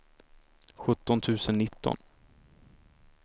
sjutton tusen nitton